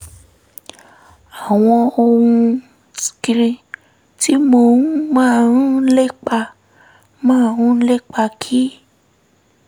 àwọn ohun tí mo um máa ń lépa máa ń lépa kì